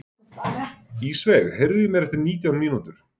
Ísveig, heyrðu í mér eftir nítján mínútur.